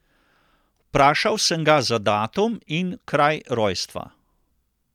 Vprašal sem ga za datum in kraj rojstva.